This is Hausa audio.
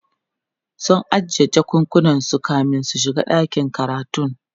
sun ajiye jakakunan su kamin su shiga ɗakin karatun